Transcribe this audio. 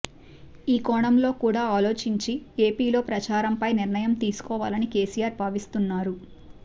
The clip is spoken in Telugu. ఈ కోణంలో కూడా ఆలోచించి ఏపీలో ప్రచారంపై నిర్ణయం తీసుకోవాలని కేసీఆర్ భావిస్తున్నారు